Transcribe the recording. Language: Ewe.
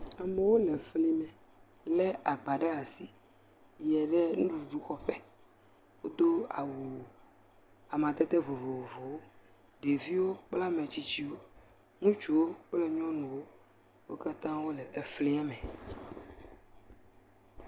Amewo le fli me le agba ɖe asi yie ɖe nuɖuɖu xɔƒe. Wodo awu amadede vovovowo. Ɖeviwo kple ame tsitsiwo, ŋutsuwo kple nyɔnuwo, wo katã wole flia me.